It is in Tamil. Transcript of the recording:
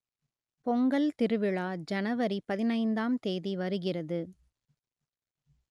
பொங்கல் திருவிழா ஜனவரி பதினைந்தாம் தேதி வருகிறது